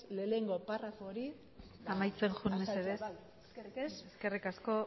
lehenengo paragrafo hori azaltzeko amaitzen joan mesedez eskerrik asko